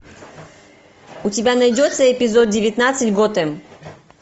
у тебя найдется эпизод девятнадцать готэм